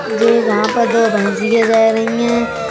ये जहां पर दो भैंसिया जा रही हैं।